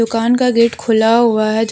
दुकान का गेट खुला हुआ है जो--